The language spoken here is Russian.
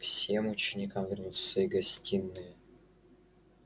всем ученикам вернуться в свои гостиные